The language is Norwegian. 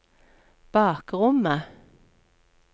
bakrommet